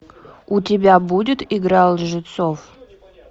у тебя будет игра лжецов